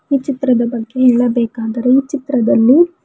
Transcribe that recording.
ಈ ಚಿತ್ರದ ಬಗ್ಗೆ ಹೇಳಬೇಕಾದರೆ ಈ ಚಿತ್ರದಲ್ಲಿ--